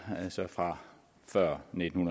fra før nitten